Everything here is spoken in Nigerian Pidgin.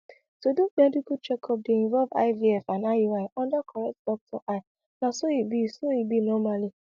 to do medical checkup dey involve ivf and iui under correct doctor eye na so e be so e be normally